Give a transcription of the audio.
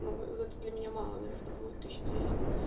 но зато для меня мало наверное будет тысяча двести